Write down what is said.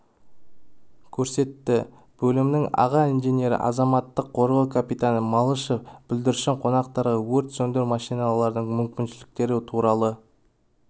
көрсетті бөлімнің аға инженері азаматтық қорғау капитаны малышев бүлдіршін қонақтарға өрт сөндіру машиналардың мүмкіншіліктері туралы